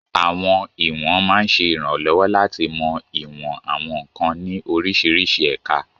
Àwọn ìwọ̀n máa ń ṣe ìrànlọ́wọ́ láti mọ ìwọ̀n àwọn nkan ní oríṣiríṣi ẹ̀ka.